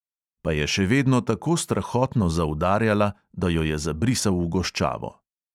Pa je še vedno tako strahotno zaudarjala, da jo je zabrisal v goščavo.